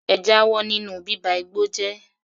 Ẹ jáwọ́ nínú bíba igbó jẹ́!